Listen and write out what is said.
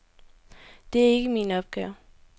Det er jo ikke min opgave.